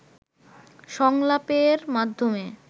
সংলাপের মাধ্যমে